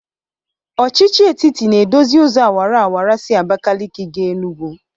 Ọchịchị etiti na-edozi ụzọ awaraawara si Abakalịkị ga Enugwu.